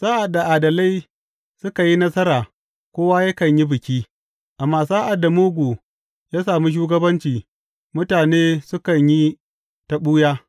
Sa’ad da adalai suka yi nasara, kowa yakan yi biki; amma sa’ad da mugu ya samu shugabanci, mutane sukan yi ta ɓuya.